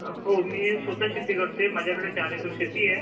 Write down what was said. हां मी स्वतः शेती करतोय, माझ्याकडे चार एकर शेती आहे.